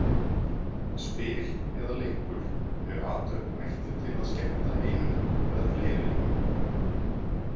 Spil eða leikur er athöfn ætluð til að skemmta einum eða fleiri leikmönnum.